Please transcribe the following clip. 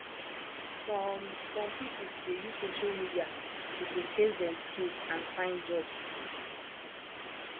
some some pipo dey use social media to showcase dem skills and find jobs